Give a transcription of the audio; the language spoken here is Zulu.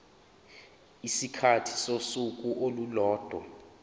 isikhathi sosuku olulodwa